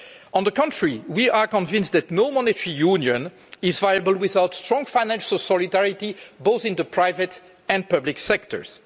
On the contrary, we are convinced that no monetary union is viable without strong financial solidarity, both in the private and public sectors.